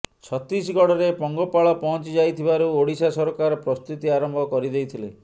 ଛତିଶଗଡ଼ରେ ପଙ୍ଗପାଳ ପହଞ୍ଚି ଯାଇଥିବାରୁ ଓଡ଼ିଶା ସରକାର ପ୍ରସ୍ତୁତି ଆରମ୍ଭ କରିଦେଇଥିଲେ